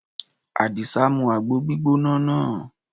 Àdìsá mu àgbo gbígbóná náà.